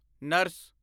nurse